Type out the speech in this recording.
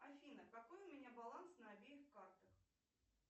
афина какой у меня баланс на обеих картах